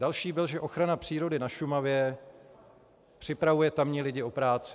Další byl, že ochrana přírody na Šumavě připravuje tamní lidi o práci.